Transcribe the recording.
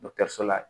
Dɔkitɛriso la